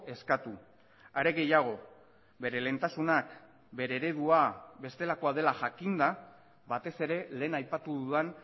eskatu are gehiago bere lehentasunak bere eredua bestelakoa dela jakinda batez ere lehen aipatu dudan